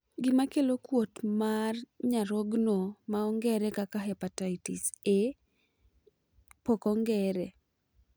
Gima kelo kuot mat nyarogno ma ongere kaka hepatitis A E pok ong'ere.